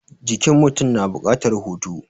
Jikin mutum na buƙatar hutu.